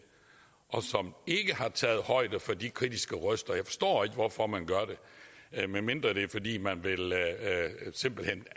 og som ikke har taget højde for de kritiske røster jeg forstår ikke hvorfor man gør det medmindre det er fordi man simpelt hen